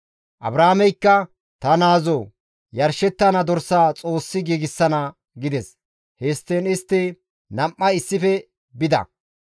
Abrahaameykka, «Ta naazoo! Yarshettana dorsaa Xoossi giigsana» gides; histtiin istti nam7ay issife bida.